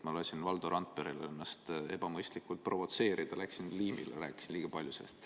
Ma lasin Valdo Randperel ennast ebamõistlikult provotseerida, läksin liimile, rääkisin sellest liiga palju.